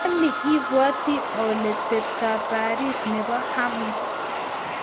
Anii ibwote ole tepto baarit nebo Hormuz?